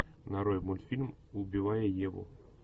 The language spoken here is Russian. нарой мультфильм убивая еву